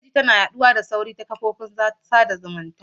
Jita-jita na yaɗuwa cikin sauri ta ƙafafen sada zumunta.